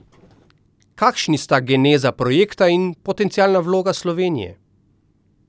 Kakšni sta geneza projekta in potencialna vloga Slovenije?